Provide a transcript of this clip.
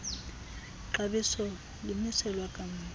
xabiso limiselwa kamva